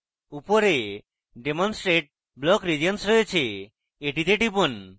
উপরে demonstrate block regions রয়েছে এটিতে টিপুন